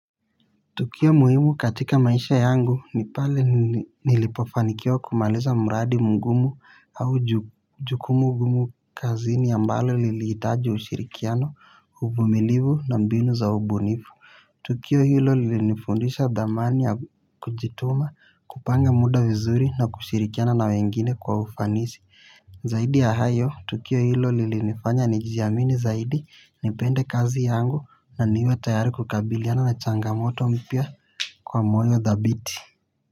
Tukio muhimu katika maisha yangu ni pale nilipofanikiawa kumaaliza mradi mugumu au jukumu gumu kazini ambalo lilitaji ushirikiano uvumilivu na mbinu za ubunifu. Tukio hilo lilinifundisha damani ya kujituma kupanga muda vizuri na kushirikiana na wengine kwa ufanisi. Zaidi ya hayo, tukio hilo lilinifanya nijijamini zaidi nipende kazi yangu na niwe tayari kukabiliana na changamoto mpia kwa moyo dhabiti.